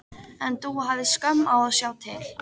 En Dúa hafði skömm á að sjá til.